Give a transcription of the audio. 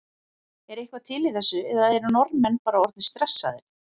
Er eitthvað til í þessu eða eru Norðmenn bara orðnir stressaðir?